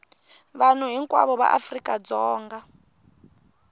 vanhu hinkwavo va afrika dzonga